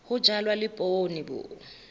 ho jalwa le poone bo